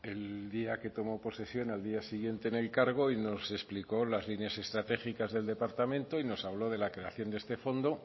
el día que tomó posesión al día siguiente en el cargo y nos explicó las líneas estratégicas del departamento y nos habló de la creación de este fondo